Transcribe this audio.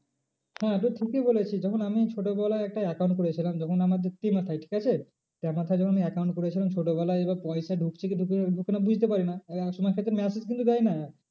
হ্যাঁ তুই ঠিকই বলেছিস যখন আমি ছোটো বেলা একটা account করেছিলাম যখন আমাদের ঠিক আছে যখন আমি account করেছিলাম ছোটো বেলায় এবার পয়সা ঢুকছে কি ঢুকছে না ওখানে বুঝতে পারি না। সময় থাকতে massage কিন্তু দেয় না।